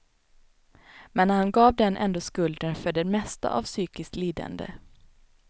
Men han gav den ändå skulden för det mesta av psykiskt lidande.